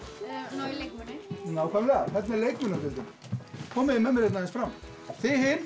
ná í leikmuni nákvæmlega þarna er leikmunadeildin komið með mér aðeins fram þið hin